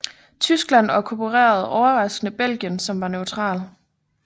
Tyskland okkuperede overraskende Belgien som var neutral